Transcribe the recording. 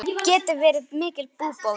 Það geti verið mikil búbót.